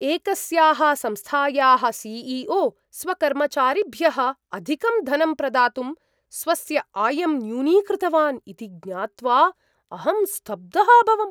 एकस्याः संस्थायाः सी.ई.ओ. स्वकर्मचारिभ्यः अधिकं धनं प्रदातुं स्वस्य आयं न्यूनीकृतवान् इति ज्ञात्वा अहं स्तब्धः अभवम्।